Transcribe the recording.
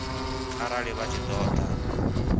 arali vha tshi ṱo ḓa